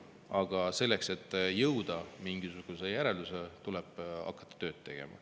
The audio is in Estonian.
Aga selleks, et jõuda mingisugusele järeldusele, tuleb hakata tööd tegema.